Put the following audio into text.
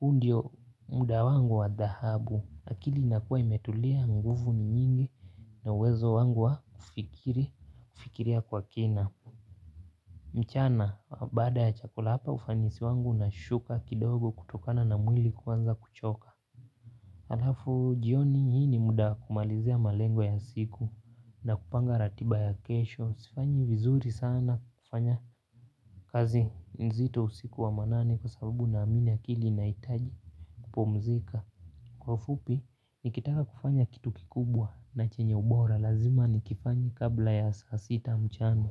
huu ndio muda wangu wa dhahabu. Akili inakuwa imetulia nguvu ni nyingi. Na uwezo wangu wa kufikiria kwa kina. Mchana, baada ya chakula hapa ufanisi wangu una shuka kidogo kutokana na mwili kuanza kuchoka. Halafu, jioni hii ni muda wa kumalizia malengo ya siku na kupanga ratiba ya kesho. Sifanyi vizuri sana kufanya kazi nzito usiku wa manane kwa sababu na amini akili inahitaji kupumzika. Kwa ufupi, nikitaka kufanya kitu kikubwa na chenye ubora lazima nikifanye kabla ya saasita mchana.